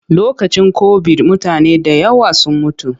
Lokacin kobid mutane da yawa sun mutu.